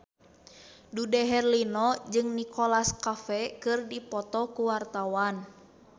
Dude Herlino jeung Nicholas Cafe keur dipoto ku wartawan